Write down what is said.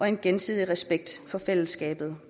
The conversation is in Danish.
en gensidig respekt for fællesskabet